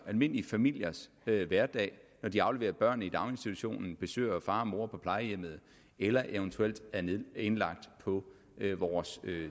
almindelige familiers hverdag når de afleverer børnene i daginstitution besøger far og mor på plejehjemmet eller eventuelt er indlagt på vores